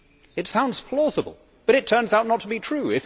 It sounds plausible but it turns out not to be true.